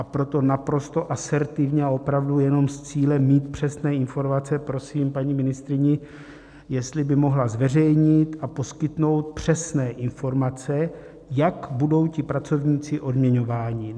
A proto naprosto asertivně a opravdu jenom s cílem mít přesné informace prosím paní ministryni, jestli by mohla zveřejnit a poskytnout přesné informace, jak budou ti pracovníci odměňováni.